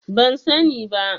Ban sani ba.